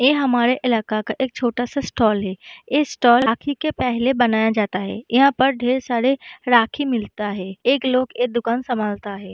ये हमारे इलाका का एक छोटा सा स्टाल है | इस स्टाल राखी के पहले बनाया जाता है | यहाँ पर ढेर सारे राखी मिलता है | एक लोग ये दुकान संभालता है |